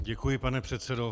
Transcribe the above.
Děkuji, pane předsedo.